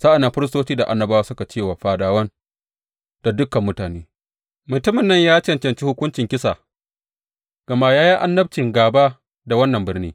Sa’an nan firistoci da annabawa suka ce wa fadawan da dukan mutane, Mutumin nan ya cancanci hukuncin kisa gama ya yi annabci gāba da wannan birni.